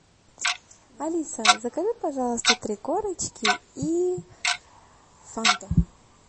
алиса закажи пожалуйста три корочки и фанту